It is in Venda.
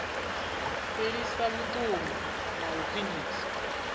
fhelisa vhuṱungu na u khwinisa